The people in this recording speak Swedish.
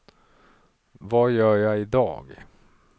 vad gör jag idag